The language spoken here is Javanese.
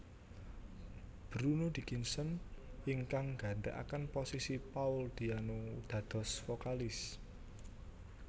Bruno Dickinson ingkang gantekaken posisi Paul Diano dados vokalis